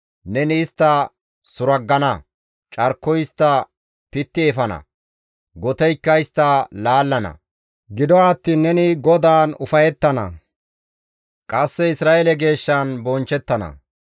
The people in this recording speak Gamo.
Neni istta suraggana; carkoy istta pitti efana; goteykka istta laallana. Gido attiin neni GODAAN ufayettana; qasse Isra7eele Geeshshan bonchchettana.